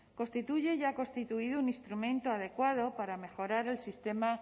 constituye y ha constituido un instrumento adecuado para mejorar el sistema